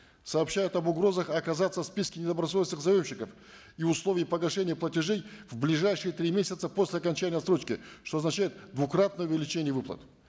сообщают об угрозах оказаться в списке недобросовестных заемщиков и условии погашения платежей в ближайшие три месяца после окончания отсрочки что означает двукратное увеличение выплат